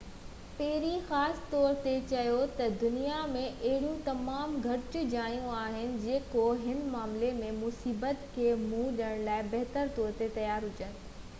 پيري خاص طور تي چيو تہ دنيا ۾ اهڙيون تمام گهٽ جايون آهن جيڪو هن معاملي ۾ مصيبت کي منهن ڏيڻ لاءِ بهتر طور تي تيار هجن